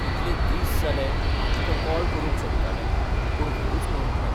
कितलें दीस जालें हांव तुकां कॉल करूंक सोदतालें, पूण वेळूच मेळूंक ना.